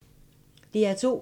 DR2